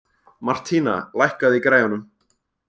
Martína, lækkaðu í græjunum.